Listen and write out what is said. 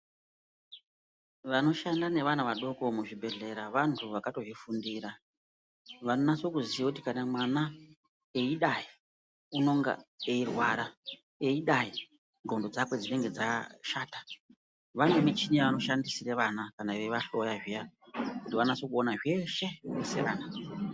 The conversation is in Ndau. Vanoshanda nevana vadoko muzvibhedhlera vantu vakatozvifundira. Vanonase kuziya kuti kana mwana eidai unonga eirwara, eidai ngondhlo dzakwe dzinenge dzashata. Vanemichini yavanoshandisira vana kana veivahloya zviya kuti vanase kuona zveshe sevana.